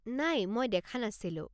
নাই, মই দেখা নাছিলোঁ।